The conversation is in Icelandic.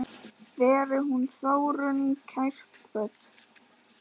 Veri hún Þórunn kært kvödd.